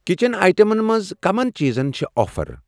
Kitchen آیٹمن منٛز کَمَن چیٖزن پٮ۪ٹھ چھِ آفر؟